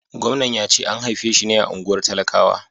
Gwamnan ya ce an haife shi ne a unguwar talakawa.